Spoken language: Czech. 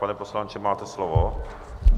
Pane poslanče, máte slovo.